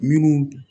Minnu